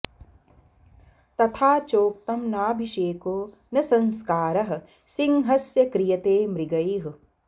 तथा चोक्तम् नाभिषेको न संस्कारः सिंहस्य क्रियते मृगैः